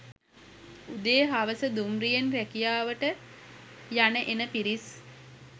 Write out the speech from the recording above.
උදේ හවස දුම්රියෙන් රැකියාවට යන එන පිරිස්